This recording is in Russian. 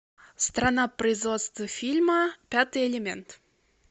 страна производства фильма пятый элемент